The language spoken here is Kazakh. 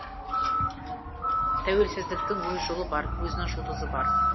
тәуелсіздіктің өз жолы бар өзінің жұлдызы бар